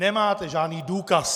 Nemáte žádný důkaz!